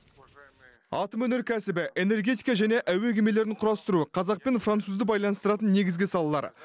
атом өнеркәсібі энергетика және әуе кемелерін құрастыру қазақ пен французды байланыстыратын негізгі салалар